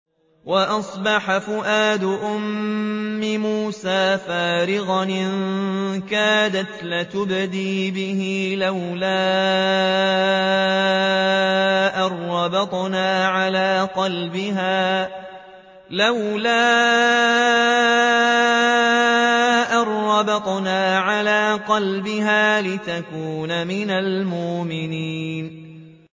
وَأَصْبَحَ فُؤَادُ أُمِّ مُوسَىٰ فَارِغًا ۖ إِن كَادَتْ لَتُبْدِي بِهِ لَوْلَا أَن رَّبَطْنَا عَلَىٰ قَلْبِهَا لِتَكُونَ مِنَ الْمُؤْمِنِينَ